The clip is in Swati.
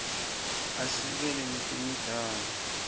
asekela netemidlalo